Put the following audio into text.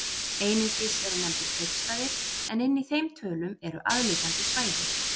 Einungis eru nefndir kaupstaðir en inni í þeim tölum eru aðliggjandi svæði.